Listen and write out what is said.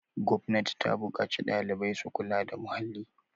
gwamnati ta buƙaci ɗalibai su kula da muhalli